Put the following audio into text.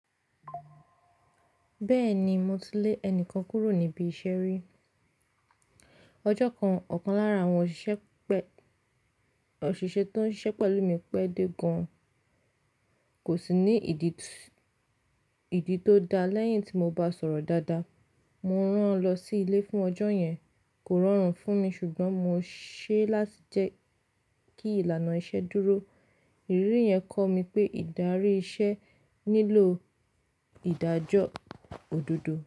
Bẹ́ẹ̀ ni, mo ti lé ẹnìkan kúrò níbi iṣẹ́ rí. Ọjọ́ kan, ọ̀kan lára àwọn òṣìṣẹ́ tó ń ṣiṣẹ́ pẹ̀lú mi pẹ́ dé gan, kò sì ní ìdí tó dáa. Lẹ́yìn tí mo bá sọ̀rọ̀ dáadáa, mo rán an lọ sí ilé fún ọjọ́ yẹn. Kò rọrùn fún mi ṣùgbọ́n mo ṣe é láti jẹ́ kí ìlànà iṣẹ́ dúró. Ìrírí yẹn kọ́ mi pé ìdarí iṣẹ́ nílò ìdájọ́ òdodo.